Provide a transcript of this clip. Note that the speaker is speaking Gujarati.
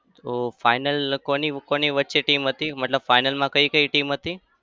ઓ final કોની-કોની વચ્ચે team હતી? મતલબ final માં કઈ-કઈ team હતી?